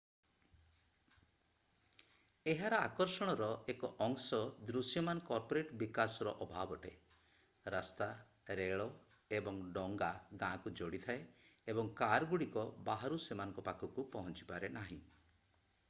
ଏହାର ଆକର୍ଷଣର ଏକ ଅଂଶ ଦୃଶ୍ୟମାନ କର୍ପୋରେଟ୍ ବିକାଶର ଅଭାବ ଅଟେ ରାସ୍ତା ରେଳ ଏବଂ ଡଙ୍ଗା ଗାଁକୁ ଯୋଡ଼ିଥାଏ ଏବଂ କାରଗୁଡିକ ବାହାରୁ ସେମାନଙ୍କ ପାଖକୁ ପହଞ୍ଚିପାରେ ନାହିଁ